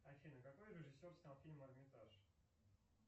афина какой режиссер снял фильм эрмитаж